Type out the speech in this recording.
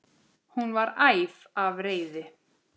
Hún var æf af reiði.